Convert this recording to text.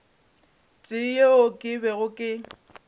tee yeo ke bego ke